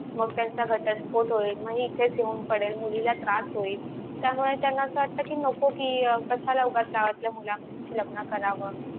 मग त्यांच्या घरच्यास sport होईल मग हि इथेच येऊन पडेल मुलीला त्रास होईल त्यामुळे त्यांना अस वाटत कि नको कि अं कश्याला उगाच त्रास लग्न करावं